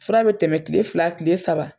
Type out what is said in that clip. Fura bɛ tɛmɛ kile fila kile saba.